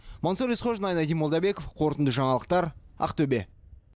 мансұр есқожин айнадин молдабеков қорытынды жаңалықтар ақтөбе